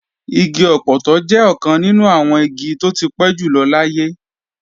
Igi ọpọtọ jẹ́ ọ̀kan nínú àwọn igi tó ti pẹ́ jùlọ láyé